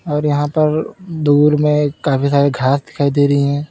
और यहां पर दूर में काफी सारे घास दिखाई दे रही हैं।